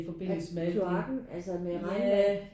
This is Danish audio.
Er det kloakken altså med regnvejr?